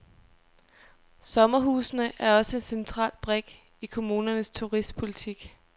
Sommerhusene er også en central brik i kommunernes turistpolitik.